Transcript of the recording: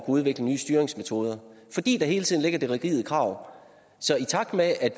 udvikle nye styringsmetoder fordi der hele tiden ligger det rigide krav så i takt med at